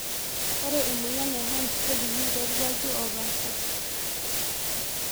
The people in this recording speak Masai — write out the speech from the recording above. Ore emoyian e (HERNS)kejungi torkwaki opasha.